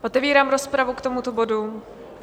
Otevírám rozpravu k tomuto bodu.